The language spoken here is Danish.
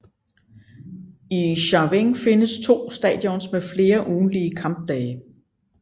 I Chaweng findes to stadions med flere ugentlige kampdage